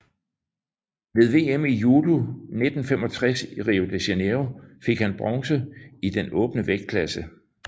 Ved VM i judo 1965 i Rio de Janeiro fik han bronze i den åbne vægtklasse